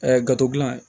gafe gilan